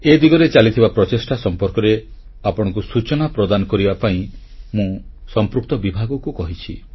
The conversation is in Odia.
ଏ ଦିଗରେ ଚାଲିଥିବା ପ୍ରଚେଷ୍ଟା ସମ୍ପର୍କରେ ଆପଣଙ୍କୁ ସୂଚନା ପ୍ରଦାନ କରିବା ପାଇଁ ମୁଁ ସମ୍ପୃକ୍ତ ବିଭାଗକୁ କହିଛି